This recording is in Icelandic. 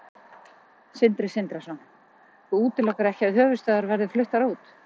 Sindri Sindrason: Þú útilokar ekki að höfuðstöðvar verði fluttar út?